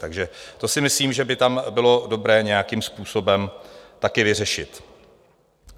Takže to si myslím, že by tam bylo dobré nějakým způsobem taky vyřešit.